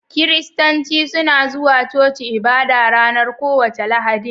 Kiristanci suna zuwa coci ibada ranar kowace Lahadin.